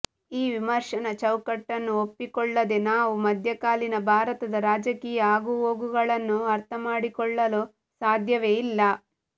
ಈ ವಿಮರ್ಶನ ಚೌಕಟ್ಟನ್ನು ಒಪ್ಪಿಕೊಳ್ಳದೆ ನಾವು ಮಧ್ಯಕಾಲೀನ ಭಾರತದ ರಾಜಕೀಯ ಆಗುಹೋಗುಗಳನ್ನು ಅರ್ಥಮಾಡಿಕೊಳ್ಳಲು ಸಾಧ್ಯವೆ ಇಲ್ಲ